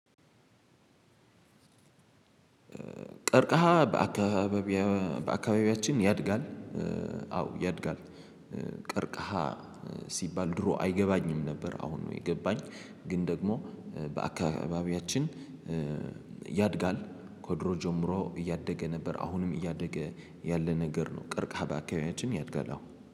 ቀርቀሃ በአካባቢያችን ያድጋል። አዎ ያድጋል። ቀርቀሃ ሲባል ድሮ አይገባኝም ነበር። አሁን ነው የገባኝ ግን ደግሞ በአካባቢያችን ያድጋል። ከድሮ ጀምሮ እያደገ ነበር አሁንም እያደገ ያለ ነገር ነው። ቀርቀሃ በአካባቢያችን ያድጋል አሁን